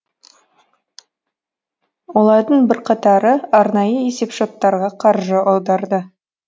олардың бірқатары арнайы есепшоттарға қаржы аударды